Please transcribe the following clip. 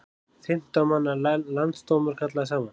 Fimmtán manna landsdómur kallaður saman